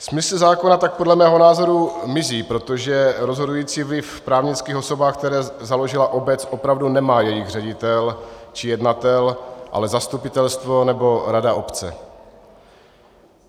Smysl zákona tak podle mého názoru mizí, protože rozhodující vliv v právnických osobách, které založila obec, opravdu nemá jejich ředitel či jednatel, ale zastupitelstvo nebo rada obce.